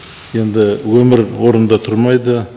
енді өмір орында тұрмайды